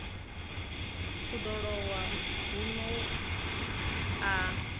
u ḓo lowa huno a